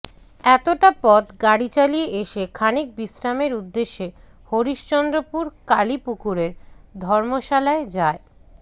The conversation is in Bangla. এতোটা পথ গাড়ি চালিয়ে এসে খানিক বিশ্রামের উদ্দেশ্যে হরিশ্চন্দ্রপুর কালি পুকুর ধর্মশালায় যায়